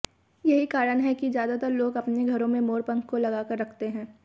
यहीं कारण हैं कि ज्यादातर लोग अपने घरों में मोर पंख को लगाकर रखते हैं